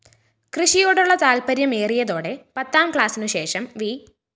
കൃഷിയോടുള്ള താല്‍പര്യമേറിയതോടെ പത്താംക്ലാസിനുശേഷം വി